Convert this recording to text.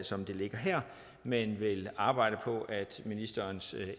som det ligger her men vil arbejde på at ministerens